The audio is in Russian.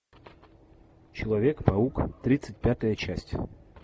человек паук тридцать пятая часть